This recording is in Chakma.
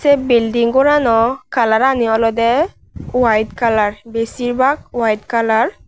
sey bilding goranaw kalarani olodey wite kalar besibak wite kalar .